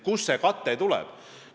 Kust see kate tuleb?